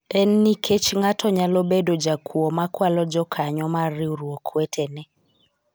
en nikech ng'ato nyalo bedo jakuo makwalo jokanyo mar riwruok wetene